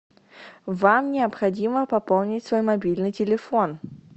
вам необходимо пополнить свой мобильный телефон